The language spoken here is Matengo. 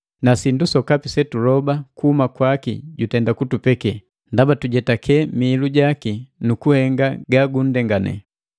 na sindu sokapi setuloba kuhuma kwaki jutenda kutupeke, ndaba tujijetake mihilu jaki nukuhenga ga gunndengane.